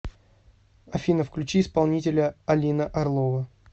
афина включи исполнителя алина орлова